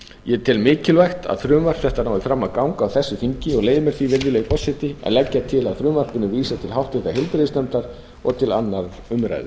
ég tel mikilvægt að frumvarp þetta nái fram að ganga á þessu þingi og leyfi mér því að leggja til að frumvarpinu verði vísað til háttvirtrar heilbrigðisnefndar og til annarrar umræðu